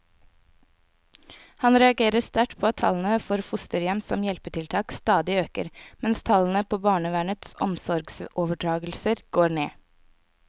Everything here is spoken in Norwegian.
Han reagerer sterkt på at tallene for fosterhjem som hjelpetiltak stadig øker, mens tallene på barnevernets omsorgsoverdragelser går ned.